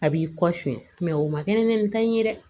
A b'i kɔ suɲɛ o ma kɛ ni nin ta in ye dɛ